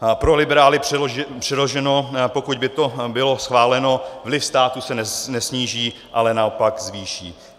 Pro liberály přeloženo, pokud by to bylo schváleno, vliv státu se nesníží, ale naopak zvýší.